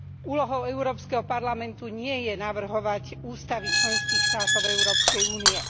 Úlohou Európskeho parlamentu nie je navrhovať ústavy členských štátov Európskej únie.